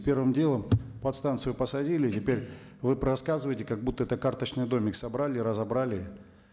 первым делом подстанцию посадили теперь вы рассказываете как будто это карточный домик собрали и разобрали